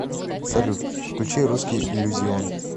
салют включи русский иллюзион